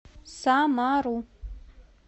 самару